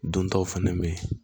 Dontaw fɛnɛ be yen